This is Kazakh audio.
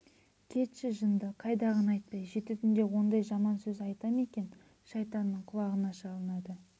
кетші жынды қайдағыны айтпай жеті түнде ондай жаман сөз айта ма екен шайтанның құлағына шалынады